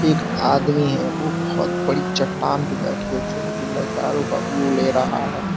आदमी है वो बहोत बड़ी चट्टान पे बैठके नजारों का व्यू ले रहा है।